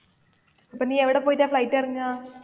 അപ്പൊ നീ എവിടെ പോയിട്ടാ flight ഇറങ്ങാ?